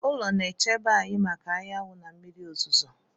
Ụlọ na-echebe anyị maka anyanwụ na mmiri ozuzo.